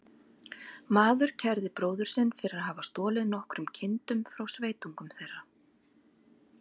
Maður kærði bróður sinn fyrir að hafa stolið nokkrum kindum frá sveitungum þeirra.